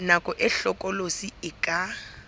nako e hlokolosi e ka